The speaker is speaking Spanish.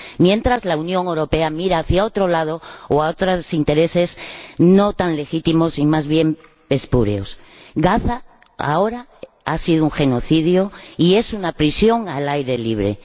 Mientras, la Unión Europea mira hacia otro lado o a otros intereses no tan legítimos y más bien espurios. En Gaza, ahora, ha habido un genocidio, y es una prisión al aire libre.